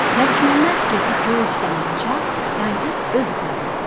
Məlikməmməd kefi kök, damağı çağ, qayıdıb öz otağına gəldi.